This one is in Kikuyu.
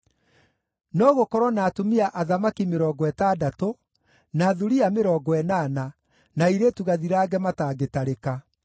No gũkorwo na atumia athamaki mĩrongo ĩtandatũ, na thuriya mĩrongo ĩnana, na airĩtu gathirange matangĩtarĩka;